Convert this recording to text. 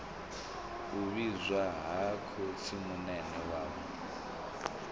u vhidzwa ha khotsimunene wawe